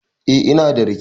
Eh, ina da rake.